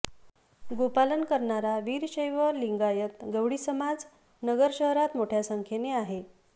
गोपालन करणारा वीरशैव लिंगायत गवळी समाज नगर शहरात मोठ्या संख्येने आहे